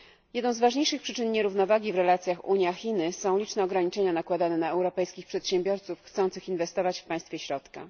Jedną z ważniejszych przyczyn nierównowagi w relacjach Unia Chiny są liczne ograniczenia nakładane na europejskich przedsiębiorców chcących inwestować w Państwie Środka.